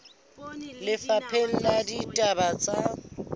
ba lefapha la ditaba tsa